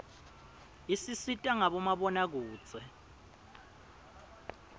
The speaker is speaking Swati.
isisita ngabo mabonakudze